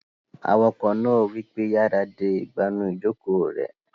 Awakọ̀ náà wípé, "yára de ìgbànú ìjòkó rẹ!"